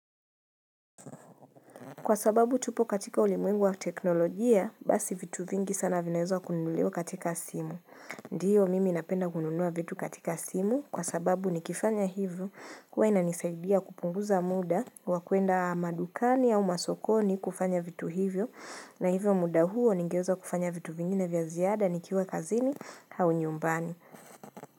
Kwa sababu tupo katika ulimwengu wa teknolojia, basi vitu vingi sana vinaezwa kununuliwa katika simu. Ndiyo, mimi napenda kununua vitu katika simu kwa sababu nikifanya hivyo huwa inanisaidia kupunguza muda wa kuenda madukani au masokoni kufanya vitu hivyo na hivyo muda huo ningeweza kufanya vitu vingine vya ziada nikiwa kazini au nyumbani.